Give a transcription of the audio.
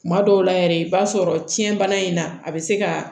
Kuma dɔw la yɛrɛ i b'a sɔrɔ cɛn bana in na a bɛ se ka